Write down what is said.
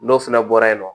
N'o fɛnɛ bɔra yen nɔ